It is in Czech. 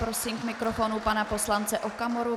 Prosím k mikrofonu pana poslance Okamuru.